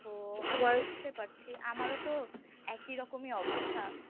ও বুজতে পারছি আমারও তো একই রকমই অবস্থা